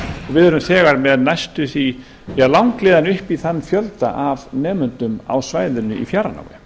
við erum þegar með næstum því langleiðina upp í þann fjölda af nemendum á svæðinu í fjarnámi